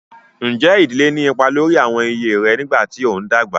Ǹjẹ́ ìdílé ní ipa lórí àwọn iyè rẹ nígbà tí ó ń dàgbà?